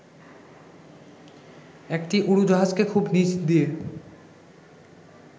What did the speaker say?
একটি উড়োজাহাজকে খুব নিচ দিয়ে